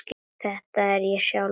Þetta er ég sjálf.